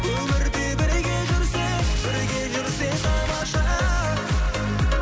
өмірде бірге жүрсек бірге жүрсек тамаша